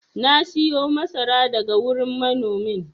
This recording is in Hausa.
na siyo masara daga wurin manomin